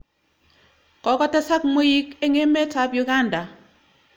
Kokotesak mweik eng' emet ap Uganda.